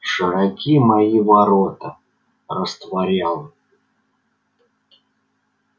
широки мои ворота растворял